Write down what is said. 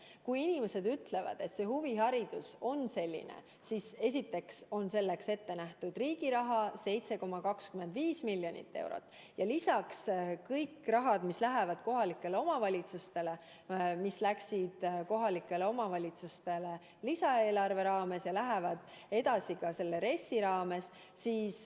Kui inimesed ütlevad, et see prioriteet on huviharidus, siis esiteks on selleks ette nähtud riigi raha 7,25 miljonit eurot ja lisaks kõik rahad, mis lähevad kohalikele omavalitsustele, mis läksid kohalikele omavalitsustele lisaeelarve raames ja lähevad edaspidi ka RES-i raames.